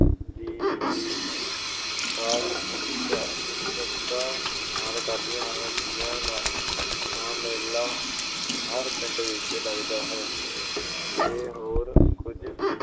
ਦੀ ਉਡੀਕ ਖਾਸ ਉਤ ਅਹ ਉਤਸੁਕਤਾ ਨਾਲ ਕਰਦੀਆਂ ਹਨ । ਤੀਆਂ ਦਾ ਮੇਲਾ ਹਰ ਪਿੰਡ ਵਿੱਚ ਲਗਦਾ ਹੈ, ਜੇ ਹੋਰ ਕੁਝ